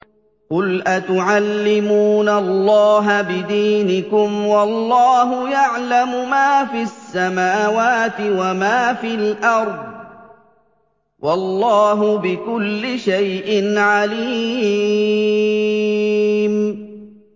قُلْ أَتُعَلِّمُونَ اللَّهَ بِدِينِكُمْ وَاللَّهُ يَعْلَمُ مَا فِي السَّمَاوَاتِ وَمَا فِي الْأَرْضِ ۚ وَاللَّهُ بِكُلِّ شَيْءٍ عَلِيمٌ